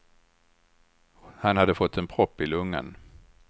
Han hade fått en propp i lungan.